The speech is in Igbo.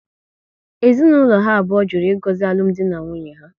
Ezinaụlọ ha abụọ jụrụ ịgozi alụmdi na nwunye ha